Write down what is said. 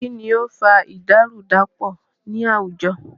Kínní o ń fa ìdàrúdàpọ̀ ní àwùjọ?